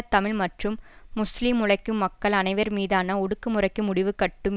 தமிழ் மற்றும் முஸ்லிம் உழைக்கும் மக்கள் அனைவர் மீதான ஒடுக்குமுறைக்கும் முடிவுகட்டும்